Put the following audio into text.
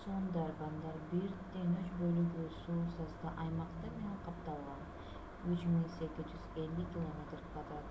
сундарбандар 1/3 бөлүгү суу/саздуу аймактар менен капталган 3,850 км²